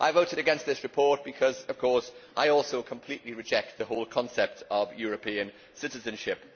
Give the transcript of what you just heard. I voted against this report because, of course, I also completely reject the whole concept of European citizenship.